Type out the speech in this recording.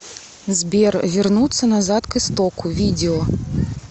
сбер вернуться назад к истоку видео